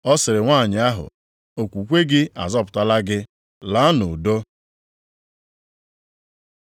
Ọ sịrị nwanyị ahụ, “Okwukwe gị azọpụtala gị, laa nʼudo.”